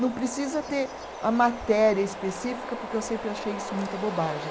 Não precisa ter a matéria específica, porque eu sempre achei isso muita bobagem.